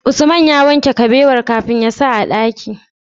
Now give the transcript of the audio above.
Usman ya wanke kabewar kafin yasa a dakin?